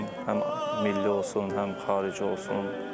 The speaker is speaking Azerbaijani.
Həm milli olsun, həm xarici olsun.